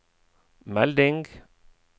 melding